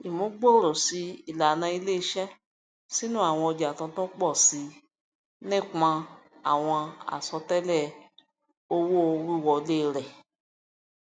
ìmúgbòòròṣì ìlànà iléiṣẹ sínú àwọn ọja tuntun pọ sí nìpọn àwọn àsọtẹlẹ owówíwọlé rẹ